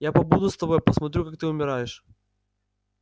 я побуду с тобой посмотрю как ты умираешь